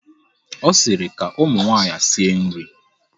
Ọ sịrị, ka ụmụ nwaanyị sie nri!